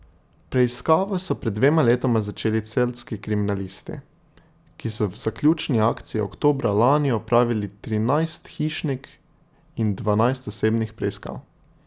Preiskavo so pred dvema letoma začeli celjski kriminalisti, ki so v zaključni akciji oktobra lani opravili trinajst hišnih in dvanajst osebnih preiskav.